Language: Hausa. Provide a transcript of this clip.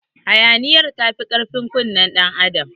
Hayaniyar tafi karfin kunnen ɗan adam.